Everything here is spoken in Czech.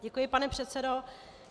Děkuji, pane předsedo.